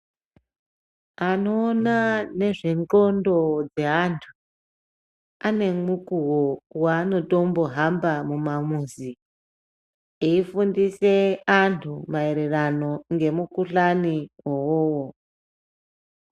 Anoona nezvendxondo dzeantu anemukuwo wanotombo hamba mumamuzi eifundise antu maererano nemukhuhlane uwowo.